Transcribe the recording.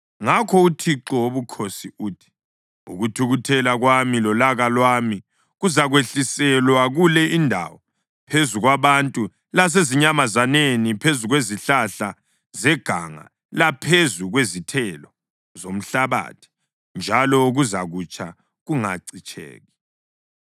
‘Ngakho uThixo Wobukhosi uthi: Ukuthukuthela kwami lolaka lwami kuzakwehliselwa kule indawo, phezu kwabantu lasezinyamazaneni, phezu kwezihlahla zeganga laphezu kwezithelo zomhlabathi; njalo kuzakutsha kungacitsheki.